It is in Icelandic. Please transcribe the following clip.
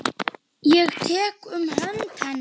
Ég tek um hönd hennar.